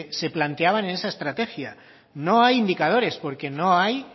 se planteaban en esa estrategia no hay indicadores porque no hay